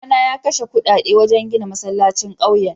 Babana ya kashe kudade wajen gina masallacin kauyen.